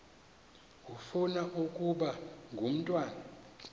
ufuna ukaba ngumntwana